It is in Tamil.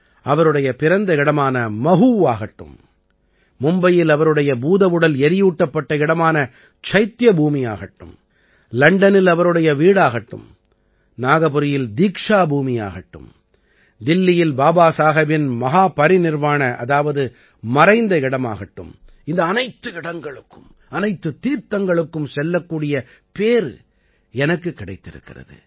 அவருடைய பிறந்த இடமான மஹூவாகட்டும் மும்பையில் அவருடைய பூதவுடல் எரியூட்டப்பட்ட இடமான சைத்திய பூமியாகட்டும் லண்டனில் அவருடைய வீடாகட்டும் நாகபுரியில் தீக்ஷா பூமியாகட்டும் தில்லியில் பாபாசாஹேபின் மஹாபரிநிர்வாண அதாவது மறைந்த இடமாகட்டும் இந்த அனைத்து இடங்களுக்கும் அனைத்துத் தீர்த்தங்களுக்கும் செல்லக்கூடிய பேறு எனக்குக் கிடைத்திருக்கிறது